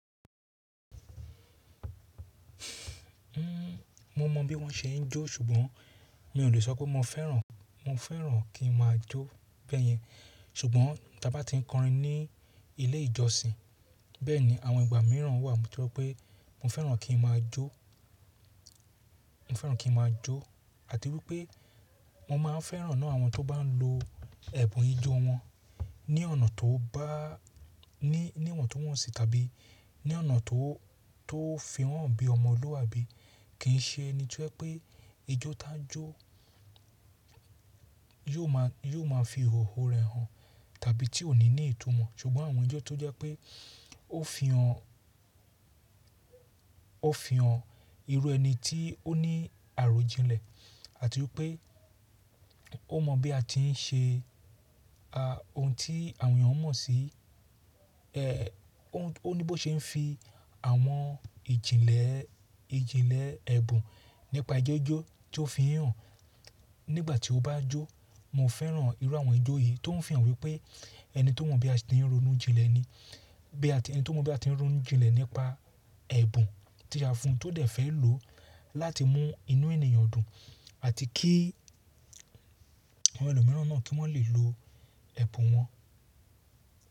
Nnn, mo mọ bí wọ́n ṣe ń jó ṣùgbọ́n mi ò le sọ pé mo fẹ́ràn. Mo fẹ́ràn kí n máa jó bẹ́yẹn ṣùgbọ́n ta bá ti ń kọrin ní ilé ìjọsìn bẹ́ẹ̀ni àwọn ìgbà míràn wà tó pé mo fẹ́ràn kí n máa jó, mo fẹ́ràn kí n máa jó àti wípé mo máa ń fẹ́ràn náà àwọn tó bá ń lo ẹ̀bùn ijó wọn ní ọ̀nà tó bá, ní, níwọ̀ntunwọ́nsi tàbí ní ọ̀nà tó, tó fi won hàn bí ọmọlúabí kì i ṣe ẹni to je pé ijó tá jó yóò ma, yóò ma fi ìhòhò rẹ̀ hàn tàbí tí ò ní ní ìtumọ̀. Ṣùgbọ́n àwọn ijó tó jẹ́ pé ó fi hàn, ó fi hàn irú ẹni tí ó ní àròjinlẹ̀ àti wípé ó mọ bí a ti ń ṣe a, ohun tí àwọn èèyàn mọ̀ sí. Ẹ o, ó ní bó ṣe ń fi àwọn ìjìnlẹ̀, ìjìnlẹ̀ ẹ̀bùn nípa ijó jó tí ó fi i hàn nígbà tí ó bá jó. Mo fẹ́ràn irú àwọn ijó yìí tó ń fihàn wípé ẹni tó mọ̀ bí a ti ń ronú jinlẹ̀ ni. Bí a ti n, ẹni tó mọ̀ bí a ti ń ronú jinlẹ̀ nípa ẹ̀bùn tí a fún tó dẹ̀ fẹ́ lò láti mú inú ènìyàn dùn àti kí àwọn ẹlòmíràn náà kí wọ́n lè lo ẹ̀bùn wọn.